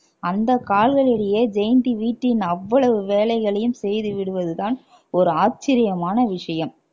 அந்த கால்களிலேயே ஜெயந்தி வீட்டின் அவ்வளவு வேலைகளையும் செய்து விடுவதுதான் ஒரு ஆச்சரியமான விஷயம்